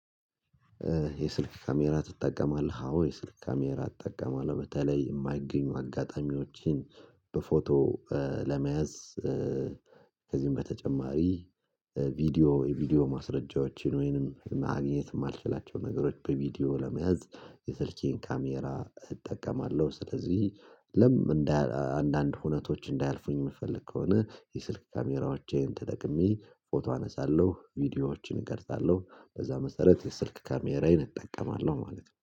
የስልክ ካሜራ ትጠቀማለህ አዎ የስልክ ካሜራ እጠቀማለሁ በተለይ የማይገኙ አጋጣሚዎችን በፎቶ ለመያዝ ከዚህም በተጨማሪ ቪዲዮ የቪዲዮ ማስረጃዎችን ወይንም ማግኘት የማልችላቸው ነገሮች በቪዲዮ ለመያዝ የሰርቼን ካሜራ እጠቀማለሁ ስለዚህ ለም አንዳንድ ሁነቶች እንዳያልፉኝ የምፈልግ ከሆነ የስልክ ካሜራዎቼን ተጠቅሜ ፎቶ አነሳለሁ ቪዲዮዎችን እቀርጻለሁ በዛ መሰረት የስልክ ካሜራዬን እጠቀማለሁ ማለት ነው።